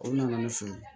O nana ne fɛ ye